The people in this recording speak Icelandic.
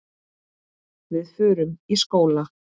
Við förum í skóla.